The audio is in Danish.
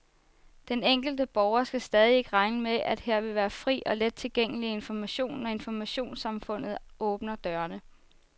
Den enkelte borger skal stadig ikke regne med, at her vil være fri og let tilgængelig information, når informationssamfundet åbner dørene.